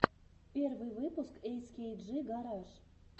первый выпуск эскейджи гараж